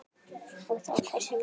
Og þá hversu mikið.